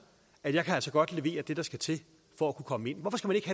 at jeg altså godt kan levere det der skal til for at kunne komme ind hvorfor skal